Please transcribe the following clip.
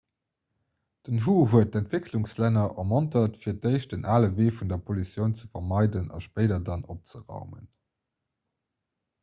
den hu huet d'entwécklungslänner ermontert fir d'éischt den ale wee vun der pollutioun ze vermeiden a spéider dann opzeraumen